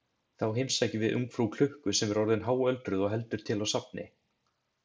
Þá heimsækjum við ungfrú klukku sem orðin er háöldruð og heldur til á safni.